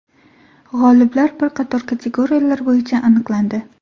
G‘oliblar bir qator kategoriyalar bo‘yicha aniqlandi.